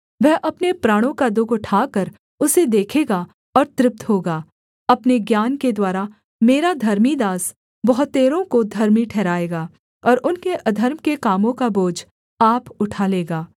वह अपने प्राणों का दुःख उठाकर उसे देखेगा और तृप्त होगा अपने ज्ञान के द्वारा मेरा धर्मी दास बहुतेरों को धर्मी ठहराएगा और उनके अधर्म के कामों का बोझ आप उठा लेगा